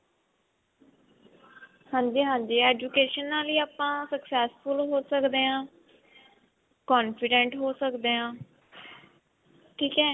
ਹਾਂਜੀ ਹਾਂਜੀ education ਨਾਲ ਹੀ ਆਪਾਂ successful ਹੋ ਸਕਦੇ ਹਾਂ confident ਹੋ ਸਕਦੇ ਹਾਂ ਠੀਕ ਹੈ